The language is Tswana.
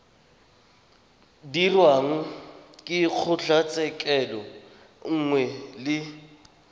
dirwang ke kgotlatshekelo nngwe le